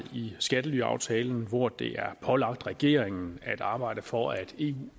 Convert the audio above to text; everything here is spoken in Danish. i skattelyaftalen hvor det er pålagt regeringen at arbejde for at eu